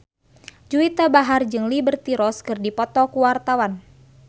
Juwita Bahar jeung Liberty Ross keur dipoto ku wartawan